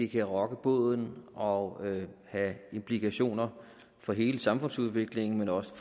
kan rokke båden og have implikationer for hele samfundsudviklingen men også